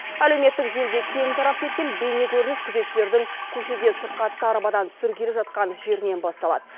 әлеуметтік желіде кең тарап кеткен бейнекөрініс күзетшілердің көшеде сырқатты арбадан түсіргелі жатқан жерінен басталады